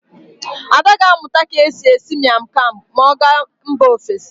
Ada ga-amụta ka e si esi Mian kam ma ọ gaa mba ofesi.